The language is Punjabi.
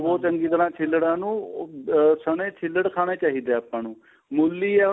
ਚੰਗੀ ਤਰ੍ਹਾਂ ਛਿੱਲੜਾ ਨੂੰ ਉਹ ਸਣੇਂ ਛਿੱਲੜ ਖਾਣੇ ਚਾਹੀਦੇ ਏ ਆਪਾਂ ਨੂੰ